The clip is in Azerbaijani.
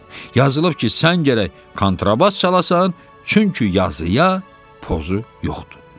Yazılıb ki, sən gərək kontrabas çalasan, çünki yazıya pozu yoxdur.